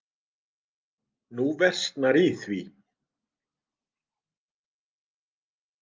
Nú versnar í því.